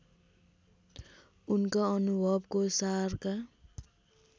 उनका अनुभवको सारका